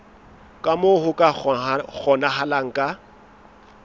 ka moo ho kgonahalang ka